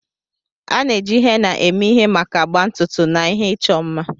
A na-eji henna eme ihe maka agba ntutu na ihe ịchọ mma.